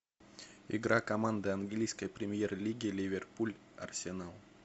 игра команды английской премьер лиги ливерпуль арсенал